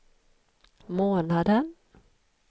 månaden